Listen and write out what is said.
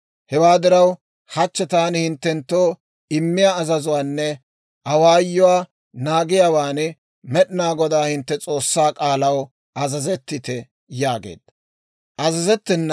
Hewaa diraw, hachchi taani hinttenttoo immiyaa azazuwaanne awaayuwaa naagiyaawaan, Med'inaa Godaa hintte S'oossaa k'aalaw azazettite» yaageedda.